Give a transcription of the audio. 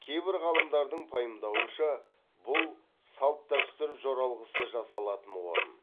кейбір ғалымдардың пайымдауынша бұл салт дәстүр жоралғысы жасалатын орын